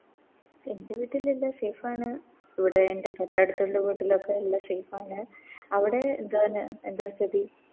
എൻറെ വീട്ടിലെല്ലാ Safe ആണ് ഇവിടെ എൻറെ തൊട്ടടുത്തുള്ള വീട്ടിലൊക്കെ എല്ലാ Safe ആണ് അവിടെ എന്താണ് എന്താ സ്ഥിതി